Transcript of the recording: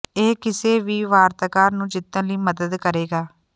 ਇਹ ਕਿਸੇ ਵੀ ਵਾਰਤਾਕਾਰ ਨੂੰ ਜਿੱਤਣ ਲਈ ਮਦਦ ਕਰੇਗਾ